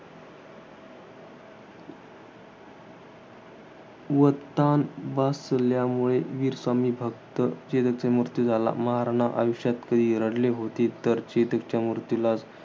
व ताण बसल्यामुळे, वीर स्वामी भक्त चेतकचा मृत्य झाला. महाराणा आयुष्यात कधी रडले होते तर, चेतकच्या मृत्यूलाच.